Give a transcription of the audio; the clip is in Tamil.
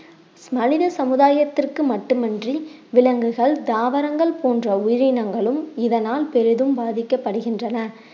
மனித சமுதாயத்திற்கு மட்டுமின்றி விலங்குகள், தாவரங்கள் போன்ற உயிரினங்களும் இதனால் பெரிதும் பாதிக்கப்படுகின்றன